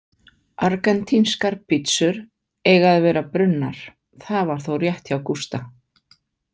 Argentínskar pítsur eiga að vera brunnar, það var þó rétt hjá Gústa.